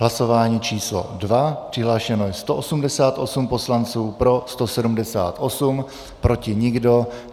Hlasování číslo 2, přihlášeno je 188 poslanců, pro 178, proti nikdo.